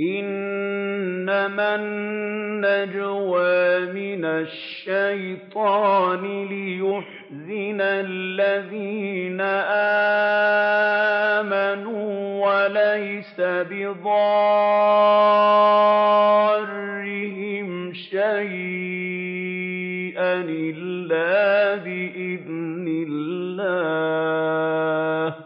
إِنَّمَا النَّجْوَىٰ مِنَ الشَّيْطَانِ لِيَحْزُنَ الَّذِينَ آمَنُوا وَلَيْسَ بِضَارِّهِمْ شَيْئًا إِلَّا بِإِذْنِ اللَّهِ ۚ